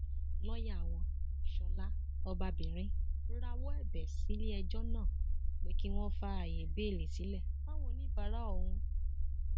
lọọyà wọn ṣọlá ọbabìnrin rawọ ẹbẹ sílẹẹjọ náà pé kí wọn fààyè béèlì sílẹ fáwọn oníbàárà òun